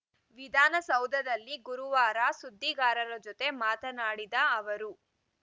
ವಿಧಾನಸೌಧದಲ್ಲಿ ಗುರುವಾರ ಸುದ್ದಿಗಾರರ ಜತೆ ಮಾತನಾಡಿದ ಅವರು